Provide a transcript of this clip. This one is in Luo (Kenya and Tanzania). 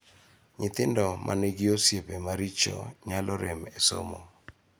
Nyithindo ma nigi osiepe maricho nyalo rem e somo.